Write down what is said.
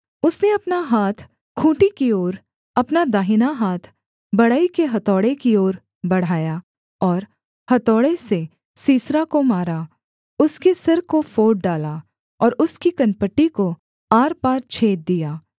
उसने अपना हाथ खूँटी की ओर अपना दाहिना हाथ बढ़ई के हथौड़े की ओर बढ़ाया और हथौड़े से सीसरा को मारा उसके सिर को फोड़ डाला और उसकी कनपटी को आरपार छेद दिया